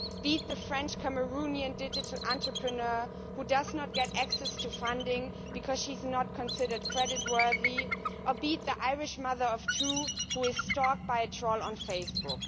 be it the French Cameroonian digital entrepreneur who does not get access to funding because she is not considered creditworthy, or be it the Irish mother of two who is being stalked by a troll on Facebook.